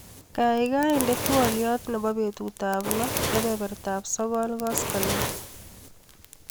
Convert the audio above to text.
Kaikai inde twaliot nebo betutap loo kebebertap sokol koskoliny.